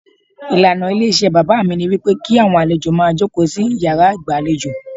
Ìlànà ilé iṣẹ́ bàbá mi ní wípé kí àwọn àlejò máa jókòó sí yàrá ìgbà lejò.